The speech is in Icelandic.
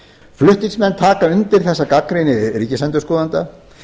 flutningsmenn taka undir þessa gagnrýni ríkisendurskoðanda